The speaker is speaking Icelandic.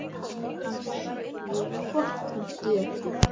Hansa: Jú, hvort hún getur.